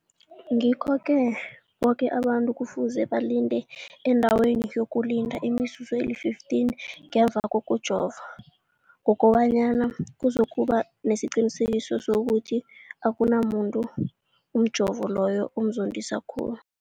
Ngikho-ke boke abantu kufuze balinde endaweni yokulinda imizuzu eli-15 ngemva kokujova, koba nyana kuzokuba nesiqiniseko sokuthi akunamuntu umjovo loyo omzondisa khulu.